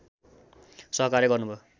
सहकार्य गर्नुभयो